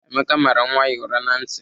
Emeka mara nwa ya ụra na ntị.